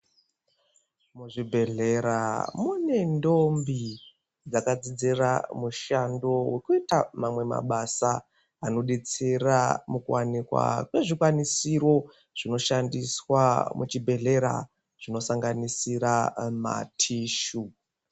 Muzvibhedlera mune ndombi dzakadzidzira mushando wekuita mamwe mabasa anobetsera mukuwanikwa kwezvikwanisiro zvinoshandiswa muchibhedhlera zvinosanganisira matishu.